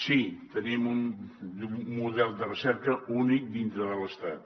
sí tenim un model de recerca únic dintre de l’estat